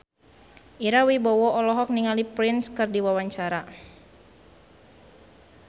Ira Wibowo olohok ningali Prince keur diwawancara